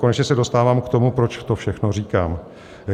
Konečně se dostávám k tomu, proč to všechno říkám.